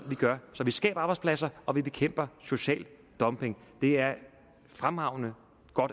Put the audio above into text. gør så vi skaber arbejdspladser og vi bekæmper social dumping det er et fremragende